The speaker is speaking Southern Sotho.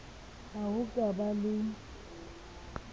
ha ho ka ba le